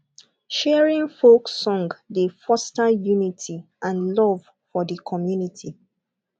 sharing folk song dey foster unity and love for di community